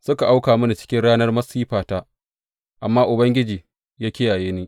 Suka auka mini cikin ranar masifata, amma Ubangiji ya kiyaye ni.